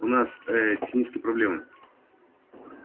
у нас э технические проблемы